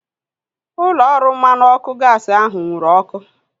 Ụlọ ọrụ mmanụ ọkụ gaasi ahu nwụrụ ọkụ